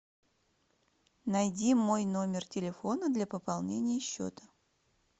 найди мой номер телефона для пополнения счета